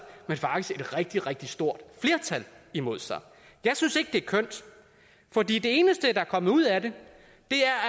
men faktisk et rigtig rigtig stort flertal imod sig jeg synes ikke det er kønt for det eneste der er kommet ud af det